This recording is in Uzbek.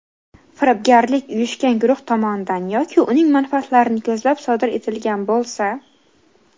Firibgarlik uyushgan guruh tomonidan yoki uning manfaatlarini ko‘zlab sodir etilgan bo‘lsa:.